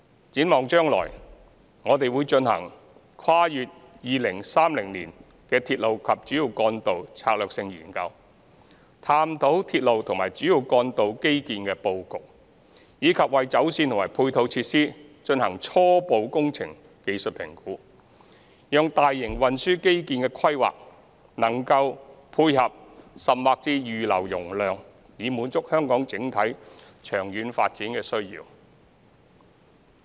展望將來，我們會進行《跨越2030年的鐵路及主要幹道策略性研究》，探討鐵路及主要幹道基建的布局，以及為走線和配套設施進行初步工程技術評估，讓大型運輸基建的規劃能配合甚或預留容量，以滿足香港整體長遠發展的需要。